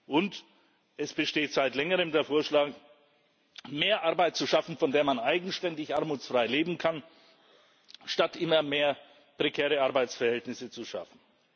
Und es besteht seit längerem der Vorschlage, mehr Arbeit zu schaffen, von der man eigenständig armutsfrei leben kann, statt immer mehr prekäre Arbeitsverhältnisse zu schaffen.